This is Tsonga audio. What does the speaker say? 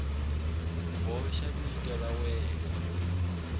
boxa vito ra n wana